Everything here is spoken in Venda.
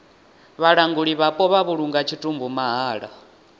vhalanguli vhapo vha vhulunga tshitumbu mahala